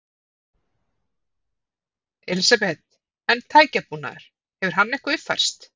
Elísabet: En tækjabúnaður, hefur hann eitthvað uppfærst?